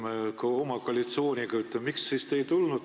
Miks te siis ei tulnud selle eelnõuga?